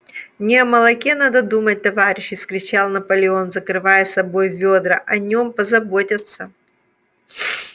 не о молоке надо думать товарищи вскричал наполеон закрывая собой ведра о нем позаботятся